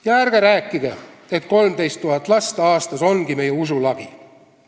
Ja ärge rääkige, et 13 000 last aastas ongi meie usu lagi.